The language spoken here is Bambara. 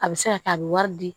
A bɛ se ka kɛ a bɛ wari di